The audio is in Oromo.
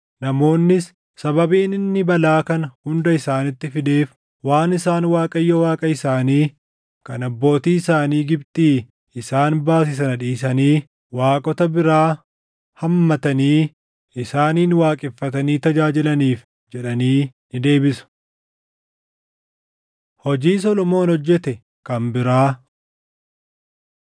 Namoonnis, ‘Sababiin inni balaa kana hunda isaanitti fideef waan isaan Waaqayyo Waaqa isaanii kan abbootii isaanii Gibxii isaan baase sana dhiisanii, waaqota biraa hammatanii, isaanin waaqeffatanii tajaajilaniif’ jedhanii ni deebisu.” Hojii Solomoon Hojjete Kan Biraa 9:10‑28 kwf – 2Sn 8:1‑18